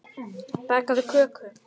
Bakaðu köku.